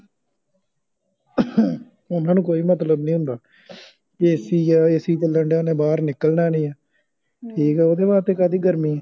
ਉਹਨਾਂ ਨੂੰ ਕੋਈ ਮਤਲਬ ਨੀ ਹੁੰਦਾ ਕਿ ਐਸੀ ਜੇ ਚਲੰਦਿਆਂ ਓਹਨੇ ਬਾਹਰ ਨਿਕਲਣਾ ਨੀਠੀਕ ਆ ਓਹਦੇ ਵਾਸਤੇ ਕਾਹਦੀ ਗਰਮੀ ਆ